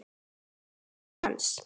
Slík er snilli hans.